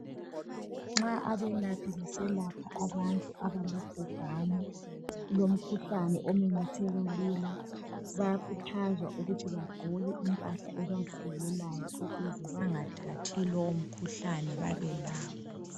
Nxa abelaphi beselapha abantu abalobhubhani lomkhuhlane omemetheka lula, bayakhuthazwa ukuthi bagqoke impahla ebavikelayo ukuze bengathathi lomkhuhlane babelawo.